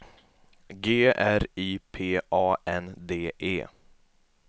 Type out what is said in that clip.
G R I P A N D E